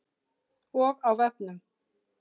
Og á vefnum.